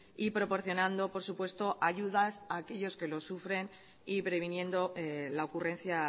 y proporcionando por supuesto ayudas a aquellos que lo sufren y previniendo la ocurrencia